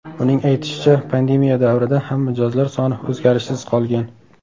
Uning aytishicha, pandemiya davrida ham mijozlar soni o‘zgarishsiz qolgan.